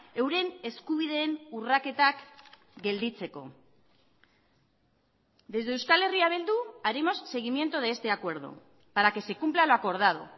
euren eskubideen urraketak gelditzeko desde euskal herria bildu haremos seguimiento de este acuerdo para que se cumpla lo acordado